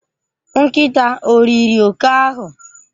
Nkịta o riri oke ahụ?